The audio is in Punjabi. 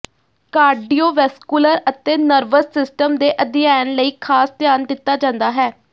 ਕਾਰਡੀਓਵੈਸਕੁਲਰ ਅਤੇ ਨਰਵਸ ਸਿਸਟਮ ਦੇ ਅਧਿਐਨ ਲਈ ਖਾਸ ਧਿਆਨ ਦਿੱਤਾ ਜਾਂਦਾ ਹੈ